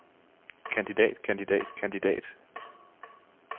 kandidat kandidat kandidat